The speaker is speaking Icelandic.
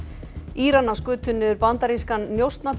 Íranar skutu niður bandarískan